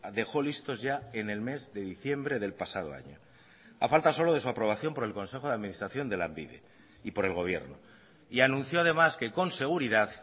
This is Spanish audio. dejó listos ya en el mes de diciembre del pasado año a falta solo de su aprobación por el consejo de administración de lanbide y por el gobierno y anunció además que con seguridad